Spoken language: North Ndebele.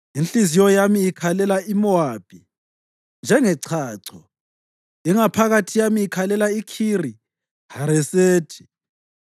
Inhliziyo yami ikhalela uMowabi njengechacho, ingaphakathi yami ikhalela iKhiri-Haresethi.